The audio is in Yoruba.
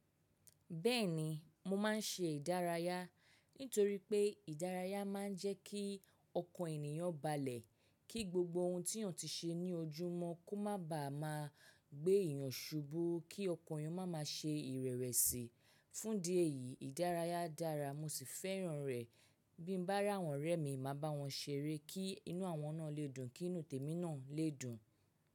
Bẹ́ẹ̀ni mo máa ń ṣe ìdárayá, nítorí pé ìdárayá máa ń jẹ́ kí ọkàn ènìyàn balẹ̀, kí gbogbo ohun tí yàn ti ṣe ní ojúmọ́ kó má ba à máa gbé èèyàn ṣubu, kí ọkàn èèyàn máa ma ṣe ìrẹ̀wẹ̀sì. Fún idi eyìí ìdárayá dára mo sì fẹ́ràn rẹ̀. Bí n bá rí àwọn ọ̀rẹ́ mi, màá bá wọn ṣeré kí inú àwọn náà lè dùn, kí inú tèmi náà lè dùn.